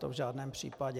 To v žádném případě.